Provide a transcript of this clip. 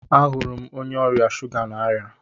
Ahụrụ m onye ọrịa shuga n'aria